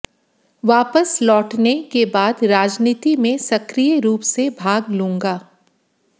वापस लौटने के बाद राजनीति में सक्रिय रूप से भाग लूंगा